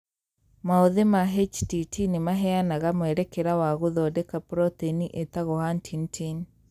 Maũthĩ ma HTT nĩmaheanaga mwerekera wa gũthondeka proteini ĩtagwo huntingtin